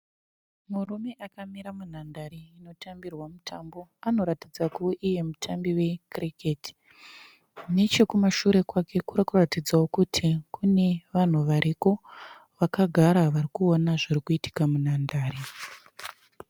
Murume akamira munhandare inotambirwa mutambo. Anoratidza kuve iye mutambi weKiriketi. Nechekumashure kwake kuri kuratidzawo kuti kune vanhu variko vakagara vari kuona zviri kuitika munhandare.